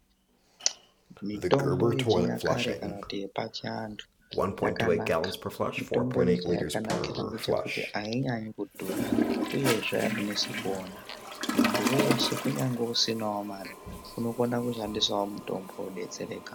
Mitombo yechinyakare kana kuti yepachiantu yakanaka. Mitomboyi chayakanakira ngechekuti, ainyanyi kudhura, uyezve ainesi kuona. Muntu weshe kunyangwe isinawo mare, unokona kushandisawo mitombo wodetsereka .